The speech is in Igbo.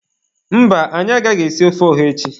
Mba, anyị agaghị esi ofe ọha echi.